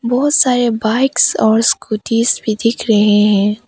बहोत सारे बाइक्स और स्कूटीज भी दिख रहे हैं।